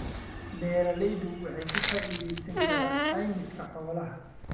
Beeraleydu waxay ka faa'iidaysan karaan caymiska xoolaha.